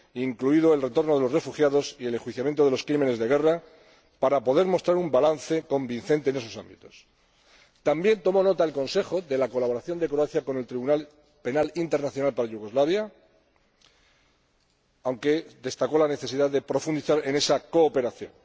incluido el retorno de los refugiados y el enjuiciamiento de los crímenes de guerra, para poder mostrar un balance convincente en dichos ámbitos. También tomó nota el Consejo de la colaboración de Croacia con el Tribunal Penal Internacional para la antigua Yugoslavia, aunque destacó la necesidad de profundizar en esa cooperación.